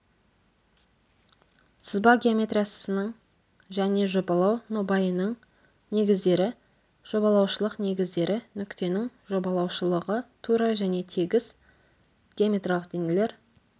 сызба геометриясының және жобалау нобайының негіздері жобалаушылық негіздері нүктенің жобалаушылығы тура және тегіс геометриялық денелер